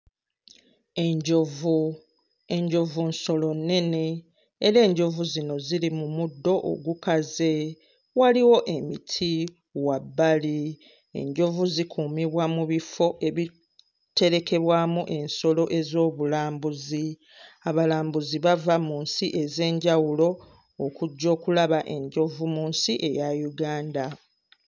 Enjovu, enjovu nsolo nnene era enjovu zino ziri mu muddo ogukaze, waliwo emiti wabbali, enjovu zikuumibwa mu bifo ebiterekebwamu ensolo ez'obulambuzi, abalambuzi bava mu nsi ez'enjawulo okujja okulaba enjovu mu nsi eya Uganda.